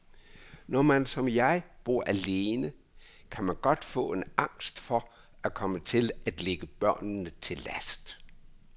Når man som jeg bor alene, kan man godt få en angst for at komme til at ligge børnene til last.